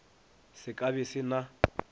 se ka be se na